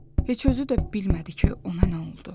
Heç özü də bilmədi ki, ona nə oldu.